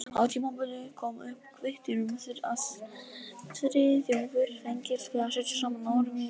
Á tímabili kom upp kvittur um að Friðþjófur fengist við að setja saman órímuð ljóð.